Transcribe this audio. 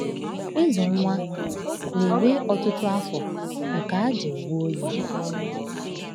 Ịzụ nwa na-ewe ọtụtụ afọ nke àjà onwe onye.